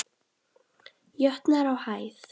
jötnar á hæð.